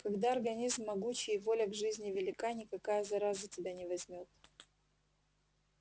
когда организм могучий и воля к жизни велика никакая зараза тебя не возьмёт